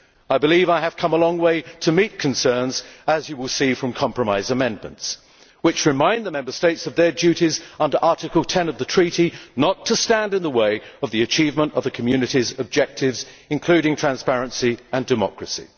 I believe I have come a long way to meet concerns, as you will see from compromise amendments that remind the Member States of their duties under Article 10 of the Treaty not to stand in the way of the achievement of the Community's objectives, including transparency and democracy.